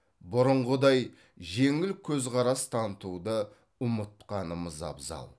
бұрынғыдай жеңіл көзқарас танытуды ұмытқанымыз абзал